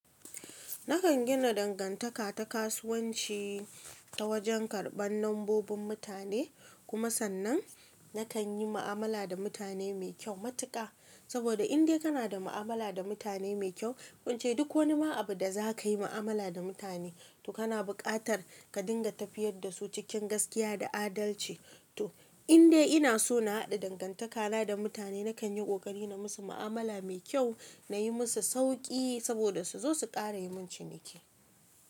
Nakan gina dangantaka ta kasuwanci ta wajen karban lambobin mutane, kuma sannan nakan yi mu'amala da mutane mai kyau matuƙa. Saboda indai kana da mu'amala da mutane mai kyau, ko ince duk wani ma abu da za ka yi mu'amala da mutane, to kana buƙatar ka dinga tafiyar da su cikin gaskiya da adalci. To indai ina so na haɗa dangantakana da mutane nakan yi ƙoƙari na musu mu'amala mai kyau, na yi musu sauki saboda su zo su ƙara yi mun ciniki.